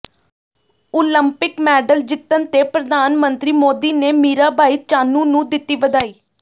Olympic medal ਜਿੱਤਣ ਤੇ ਪ੍ਰਧਾਨ ਮੰਤਰੀ ਮੋਦੀ ਨੇ ਮੀਰਾਬਾਈ ਚਾਨੂੰ ਨੂੰ ਦਿੱਤੀ ਵਧਾਈ